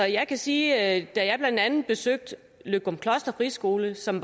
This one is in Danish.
jeg kan sige at jeg blandt andet besøgte løgumkloster friskole som